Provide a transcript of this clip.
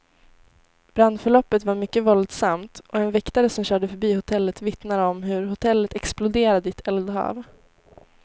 Brandförloppet var mycket våldsamt, och en väktare som körde förbi hotellet vittnar om hur hotellet exploderade i ett eldhav.